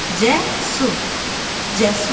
Cəsur, cəsur.